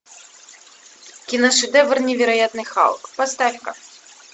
киношедевр невероятный халк поставь ка